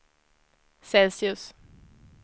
Celsius